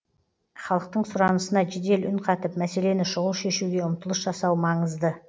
халықтың сұранысына жедел үн қатып мәселені шұғыл шешуге ұмтылыс жасау маңызды